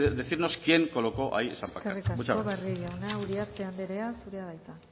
decirnos quien colocó ahí esa pancarta muchas gracias eskerrik asko barrio jauna uriarte anderea zurea da hitza